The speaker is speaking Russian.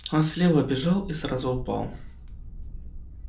он слева бежал и сразу упал